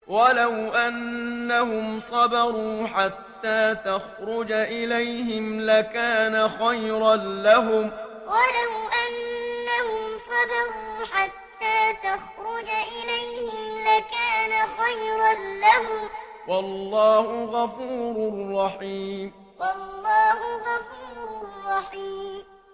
وَلَوْ أَنَّهُمْ صَبَرُوا حَتَّىٰ تَخْرُجَ إِلَيْهِمْ لَكَانَ خَيْرًا لَّهُمْ ۚ وَاللَّهُ غَفُورٌ رَّحِيمٌ وَلَوْ أَنَّهُمْ صَبَرُوا حَتَّىٰ تَخْرُجَ إِلَيْهِمْ لَكَانَ خَيْرًا لَّهُمْ ۚ وَاللَّهُ غَفُورٌ رَّحِيمٌ